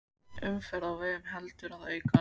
Umferð á vegum heldur að aukast